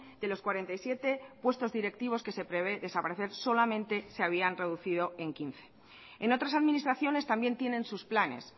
de los cuarenta y siete puestos directivos que se prevé desaparecer solamente se habían reducido en quince en otras administraciones también tienen sus planes